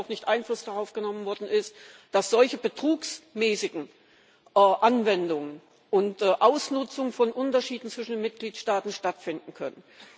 auch nicht Einfluss darauf genommen worden ist, dass solche betrugsmäßigen Anwendungen unter Ausnutzung von Unterschieden zwischen den Mitgliedstaaten stattfinden können.